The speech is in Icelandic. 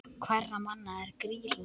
Hverra manna er Grýla?